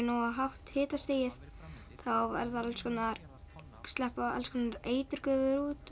nógu hátt hitastig þá sleppa alls konar eiturgufur út